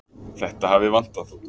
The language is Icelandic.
Þetta hafi vantað.